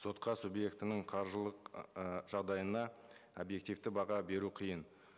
сотқа субъектінің қаржылық ыыы жағдайына объективті баға беру қиын